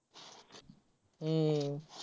हम्म